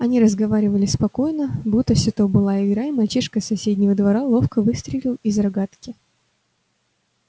они разговаривали спокойно будто всё то была игра и мальчишка с соседнего двора ловко выстрелил из рогатки